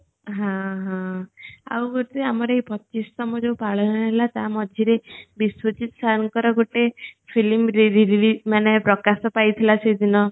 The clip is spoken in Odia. ହଁ ହଁ ଆଉ ଗଟେ ଆମର ଏ ପଚିସ ତମ ଜୋ ପାଳନ ହେଲା ତା ମଝିରେ ବିଶ୍ଵଜିତ sir ଙ୍କର ଗୋଟେ film ରେ ରେ ରି ମାନେ ପ୍ରକାଶ ପାଇ ଥିଲା ସେ ଦିନ